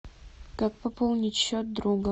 как пополнить счет друга